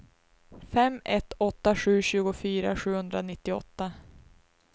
fem ett åtta sju tjugofyra sjuhundranittioåtta